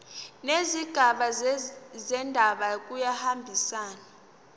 nezigaba zendaba kuyahambisana